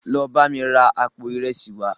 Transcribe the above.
Lọ bámi ra àpò ìresì wàá!